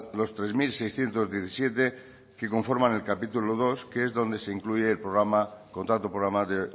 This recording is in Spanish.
los tres mil seiscientos diecisiete que conforman el capítulo segundo que es donde se incluye el contrato programa de